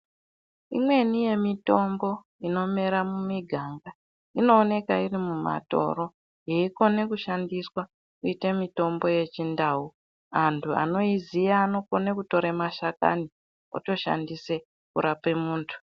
Imweni yemitombo inomera mumiganga inooneka iri mumatoro yeinokone kushandiswa kuite mitombo yechindau. Antu anoiziya anokone kutore mashakani otoshandise kurape muntu.